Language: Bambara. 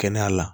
Kɛnɛya la